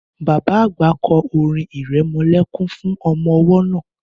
Bàbá àgbà kọ́ orin irẹmọlẹ́kún fún ọmọ-ọwọ́ náà.